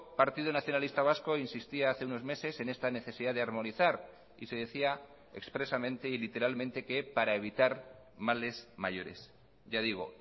partido nacionalista vasco insistía hace unos meses en esta necesidad de armonizar y se decía expresamente y literalmente que para evitar males mayores ya digo